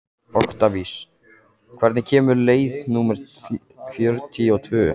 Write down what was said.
Oktavías, hvenær kemur leið númer fjörutíu og tvö?